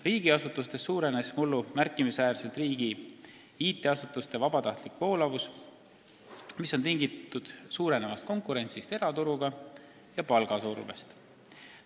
Riigiasutustes suurenes mullu märkimisväärselt riigi IT-asutuste personali vabatahtlik voolavus, mis on olnud tingitud suurenevast konkurentsist eraturuga ja palgasurvest.